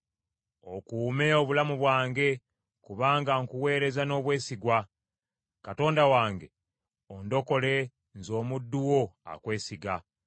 Okuume obulamu bwange, kubanga nkuweereza n’obwesigwa. Katonda wange, ondokole nze omuddu wo akwesiga.